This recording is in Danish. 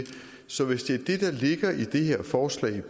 så hvis det er det set ligger i det her forslag